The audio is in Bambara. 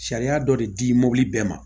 Sariya dɔ de di mobili bɛɛ ma